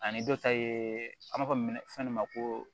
Ani dɔ ta ye an b'a fɔ min ma fɛn ma ko